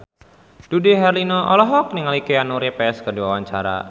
Dude Herlino olohok ningali Keanu Reeves keur diwawancara